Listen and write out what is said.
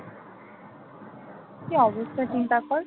কি অবস্থা চিন্তা কর